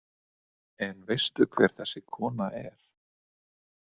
En veistu hver þessi kona er?